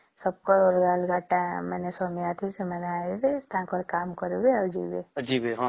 ସେବକ ଅଲଗା ଅଲଗା କାମ ଅଛି ସବକେ ଆଇଁବେ ଆଉ କାମ କରିବେ ଆଉ ଯିବେ